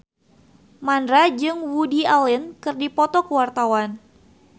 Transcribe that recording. Mandra jeung Woody Allen keur dipoto ku wartawan